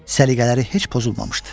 Səliqələri heç pozulmamışdı.